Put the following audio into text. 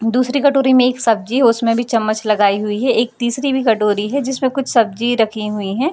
दूसरी कटोरी में एक सब्जी है उसमें भी चम्मच लगाई हुई है एक तीसरी भी कटोरी है जिसमें कुछ सब्जी रखीं हुई है।